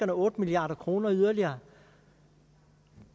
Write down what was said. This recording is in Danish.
otte milliard kroner yderligere